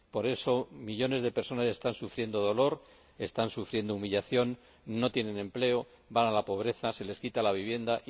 Por eso, millones de personas están sufriendo dolor, están sufriendo humillación, no tienen empleo, caen en la pobreza, se les quita la vivienda.